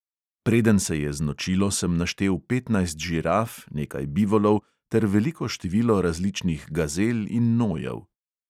Preden se je znočilo, sem naštel petnajst žiraf, nekaj bivolov ter veliko število različnih gazel in nojev.